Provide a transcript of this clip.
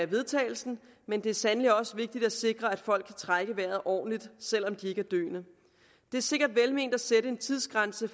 vedtagelse men det er sandelig også vigtigt at sikre at folk kan trække vejret ordentligt selv om de ikke er døende det er sikkert velment at sætte en tidsgrænse